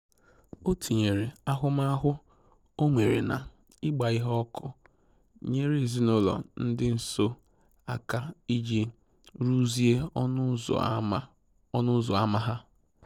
O tinyere ahụmahụ o nwere na ịgba ihe ọkụ nyere ezinụlọ dị nso aka iji rụzie ọnụ ụzọ ama ọnụ ụzọ ama ha